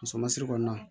Muso ma siri kɔnɔna